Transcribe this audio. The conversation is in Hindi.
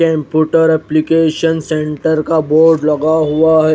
कम्पुटर एप्लीकेशन सेंटर का बोर्ड लगा हुआ है।